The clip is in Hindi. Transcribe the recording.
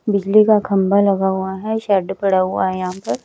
बिजली का खंभा लगा हुआ है शेड पड़ा हुआ है यहां पर।